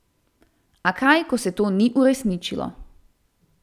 A kaj ko se to ni uresničilo.